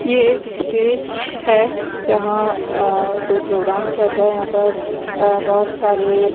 ये एक स्टेज है जहाँ अ कोई प्रोग्राम चल रहा है यहाँ पर अ बहुत सारे --